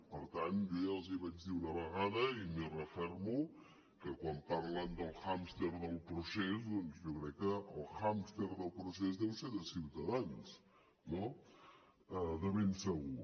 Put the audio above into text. per tant jo ja els vaig dir una vegada i m’hi refermo que quan parlen del hàmster del procés doncs jo crec que el hàmster del procés deu ser de ciutadans no de ben segur